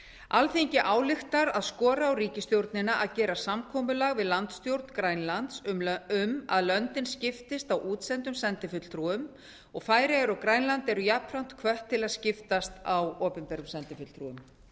alþingi ályktar að skora á ríkisstjórnina að gera samkomulag við landsstjórn grænlands um að löndin skiptist á útsendum sendifulltrúum færeyjar og grænland eru jafnframt hvött til að skiptast á opinberum sendifulltrúum